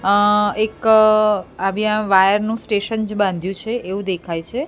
આ એક આવ્યા વાયર નું સ્ટેશન જ્ બાંધ્યું છે એવુ દેખાય છે.